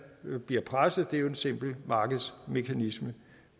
bliver presset det er jo en simpel markedsmekanisme